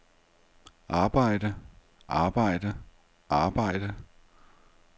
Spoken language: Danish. arbejde arbejde arbejde